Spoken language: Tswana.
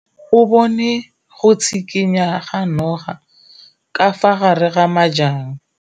O bone go tshikinya ga noga ka fa gare ga majang.